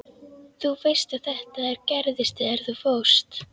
Þú veist að þetta gerðist þegar þú fórst.